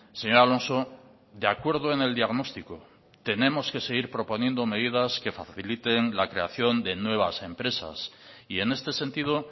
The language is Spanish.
señor alonso de acuerdo en el diagnóstico tenemos que seguir proponiendo medidas que faciliten la creación de nuevas empresas y en este sentido